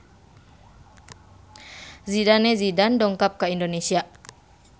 Zidane Zidane dongkap ka Indonesia